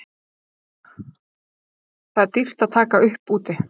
Það er dýrt að taka upp úti?